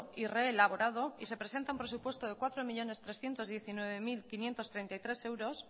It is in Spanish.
y reelaborado y se presenta un presupuesto de cuatro millónes trescientos diecinueve mil quinientos treinta y tres euros